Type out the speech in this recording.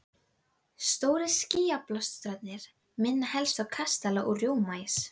Stórir skýjabólstrarnir minna helst á kastala úr rjómaís.